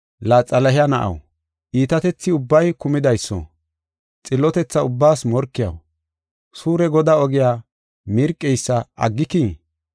“La, Xalahe na7aw, iitatethi ubbay kumidayso, xillotetha ubbaas morkiyaw, suure Godaa ogiya mirqeysa aggikii?